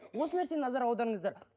осы нәрсені назар аударыңыздар